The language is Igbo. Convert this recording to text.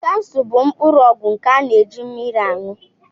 Kapsul bụ mkpụrụ ọgwụ nke a na-eji mmiri añụ